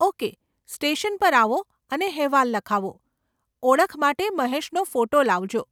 Okay, station પર આવો અને હેવાલ લખાવો, ઓળખ માટે મહેશનો ફોટો લાવજો.